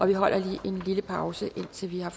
vi holder lige en lille pause indtil vi er